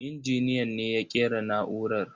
Injiniyan ne ya ƙera na'urar.